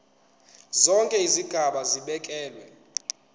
zonke izigaba zibekelwe